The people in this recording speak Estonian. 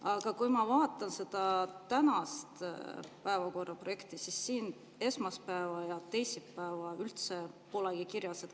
Aga kui ma vaatan seda tänast päevakorra projekti, siis siin esmaspäeva ja teisipäeva üldse polegi kirjas.